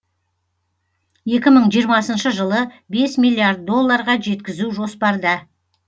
екі мың жиырмасыншы жылы бес миллиард долларға жеткізу жоспарда